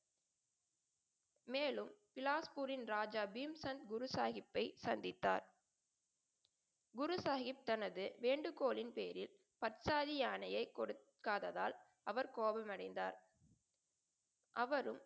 மேலும் இலாஸ்பூரின் ராஜா பீம்சன் குரு சாஹிப்பை சந்தித்தார். குரு சாஹிப் தனது வேண்டுகோளின் பேரில் பட்சாரி யானையை கொடுக்காததால் அவர் கோபம் அடைந்தார். அவரும்